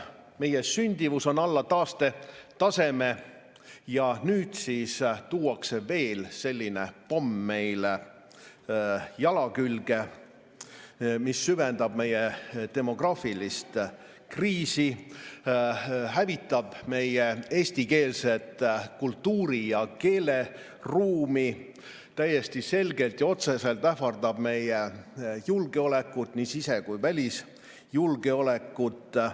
Meie sündimus on alla taastetaseme ja nüüd tuuakse veel selline pomm meile jala külge, mis süvendab meie demograafilist kriisi, hävitab meie eestikeelset kultuuri ja keeleruumi täiesti selgelt ja otseselt ähvardab meie julgeolekut, nii sise‑ kui ka välisjulgeolekut.